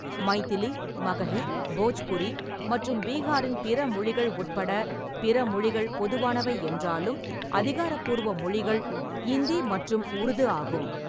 மைதிலி, மகஹி, போஜ்புரி மற்றும் பீகாரின் பிற மொழிகள் உட்பட பிற மொழிகள் பொதுவானவை என்றாலும், அதிகாரப்பூர்வ மொழிகள் இந்தி மற்றும் உருது ஆகும்.